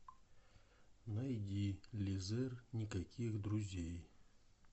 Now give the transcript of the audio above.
найди лизер никаких друзей